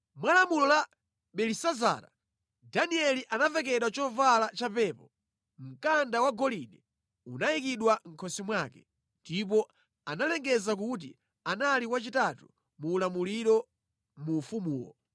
Mwa lamulo la Belisazara, Danieli anavekedwa chovala cha pepo, mkanda wagolide unayikidwa mʼkhosi mwake, ndipo analengeza kuti anali wachitatu mu ulamuliro mu ufumuwo.